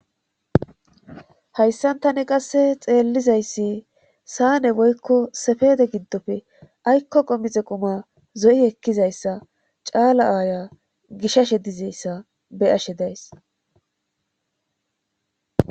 Hayssantane qasse xeellizayssi saane woykko sefede giddofe aykko qomixe quma zo'i ekkizayssa caala aaya gishashe dizeyssa beyashe days.